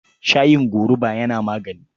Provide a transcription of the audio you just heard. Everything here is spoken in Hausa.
Shayin gorubu yana magani.